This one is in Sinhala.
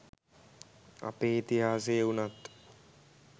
අපේ ඉතිහාසය උනත්